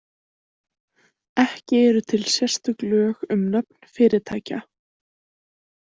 Ekki eru til sérstök lög um nöfn fyrirtækja.